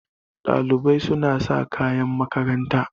Ɗalibai suna sa kayan makaranta.